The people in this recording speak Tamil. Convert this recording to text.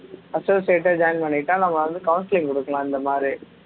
associate ஆ join பண்ணிக்கிட்டா நம்ம வந்து counseling குடுக்கலாம் இந்தமாதிரி